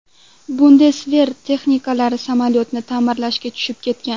Bundesver texniklari samolyotni ta’mirlashga tushib ketgan.